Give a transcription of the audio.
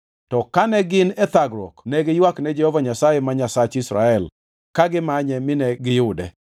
To kane gin e thagruok ne giywakne Jehova Nyasaye ma Nyasach Israel ka gimanye mine giyude.